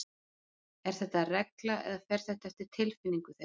Er þetta regla eða fer þetta eftir tilfinningu þeirra?